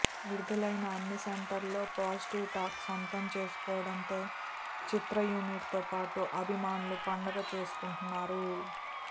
విడుదలైన అన్ని సెంటర్లలో పాజిటివ్ టాక్ సొంతం చేసుకోవడంతో చిత్ర యూనిట్ తో పాటు అభిమానులు పండగా చేసుకుంటున్నారు